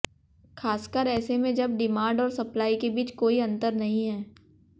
खासकर ऐसे में जब डिमांड और सप्लाई के बीच कोई अंतर नहीं है